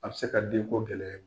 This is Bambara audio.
A bɛ se ka denko gɛlɛya.